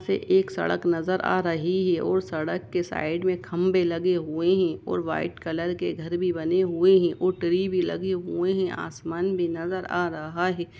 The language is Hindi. एक सड़क नजर आ रही है और सड़क के साईड में खंबे लगे हुए है और वाईट कलर के घर भी बने हुए है और ट्री भी लगे हुए हैअसमान भी नजर आ रहा है।